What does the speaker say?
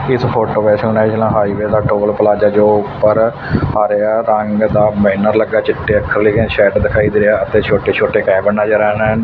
ਇਸ ਫੋਟੋ ਵਿੱਚ national highway ਦਾ ਟੋਲ ਪਲਾਜਾ ਜੋ ਉਪਰ ਆ ਰਿਹਾ ਰੰਗ ਦਾ ਬੈਨਰ ਲੱਗਾ ਚਿੱਟੇ ਅੱਖਰ ਲਿਖੇ ਸ਼ੈਡ ਦਿਖਾਈ ਦੇ ਰਿਹਾ ਅਤੇ ਛੋਟੇ ਛੋਟੇ ਕੈਬਨ ਨਜ਼ਰ ਆ ਰੇਨ।